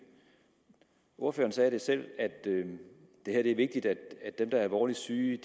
ordføreren sagde selv at det er vigtigt at dem der er alvorligt syge